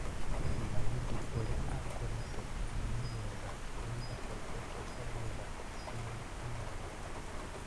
Ndaudi ũrĩa akũrĩtio nĩ Meiwetha rĩu ndahoteetwo harĩ mĩthako ikũmi na ĩnana.